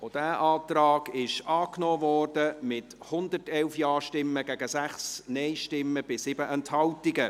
Auch dieser Antrag wurde angenommen, mit 111 Ja- gegen 6 Nein-Stimmen bei 7 Enthaltungen.